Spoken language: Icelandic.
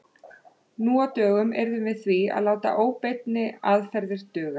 Nú á dögum yrðum við því að láta óbeinni aðferðir duga.